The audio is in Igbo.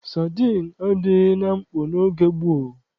Sadịn adịghị na mkpọ n'oge gboo.